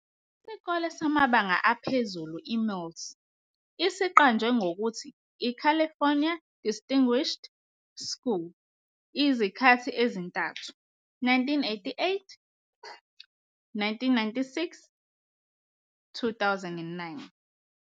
Isikole samabanga aphezulu iMills siqanjwe ngokuthi iCalifornia Distinguished School izikhathi ezintathu, 1988, 1996, 2009.